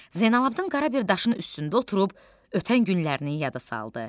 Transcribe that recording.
Zeynallabdin qara bir daşın üstündə oturub ötən günlərini yada saldı.